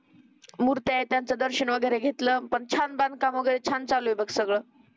मुर्त्यां आहे त्याचं दर्शन वगैरे घेतलं पण छान बांधकाम वगैरे छान चालू आहे सगळं